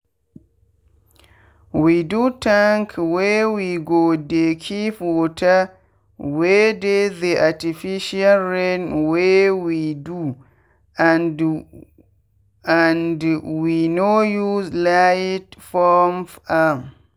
we do tank wey we go dey keep water wey dey the artificial rain wey we do and and we no use light pump am